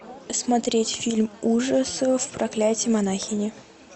смотреть фильм ужасов проклятие монахини